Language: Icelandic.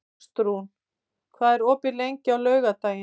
Ástrún, hvað er opið lengi á laugardaginn?